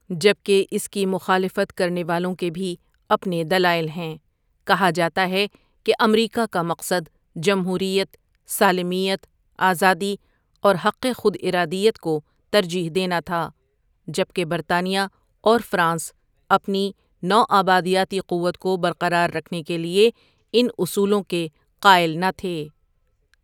جبکہ اس کی مخالفت کرنے والوں کے بھی اپنے دلائل ہیں کہا جاتا ہے کہ امریکا کا مقصد جمہوریت، سالمیت، آزادی اور حق خود ارادیت کو ترجیح دینا تھا جبکہ برطانیہ اور فرانس اپنی نو آبادیاتی قوت کو برقرار رکھنے کے لیے ان اصولوں کے قائل نہ تھے ۔